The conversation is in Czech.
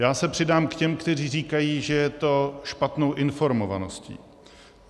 Já se přidám k těm, kteří říkají, že je to špatnou informovaností.